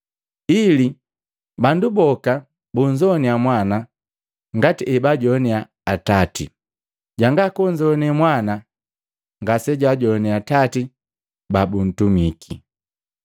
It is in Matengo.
ili bandu boka babunzoane Mwana ngati ebajoane Atati. Janga kunzoane Mwana ngasejajoane Atati babuntumiki.”